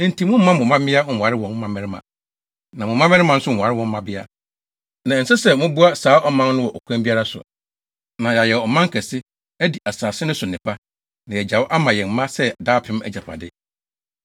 Enti mommma mo mmabea nware wɔn mmabarima, na mo mmabarima nso nware wɔn mmabea, na ɛnsɛ sɛ moboa saa aman no wɔ ɔkwan biara so, na yɛayɛ ɔman kɛse, adi asase no so nnepa, na yɛagyaw ama yɛn mma sɛ daapem agyapade.’